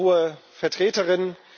Sehr geehrte hohe Vertreterin!